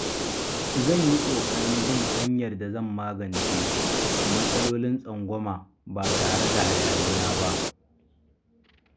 Zan yi ƙoƙarin bin hanyar da zan magance matsalolin tsangwama ba tare da hayaniya ba.